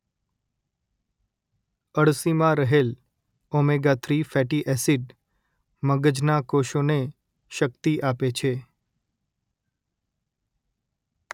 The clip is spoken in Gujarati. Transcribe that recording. અડસીમાં રહેલ ઓમેગા-૩ ફેટી એસીડ મગજના કોષોને શક્તિ આપે છે